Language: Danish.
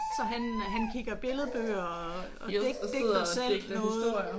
Så han øh han kigger billedbøger og digter selv noget?